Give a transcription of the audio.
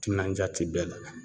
Timinanja ti bɛɛ la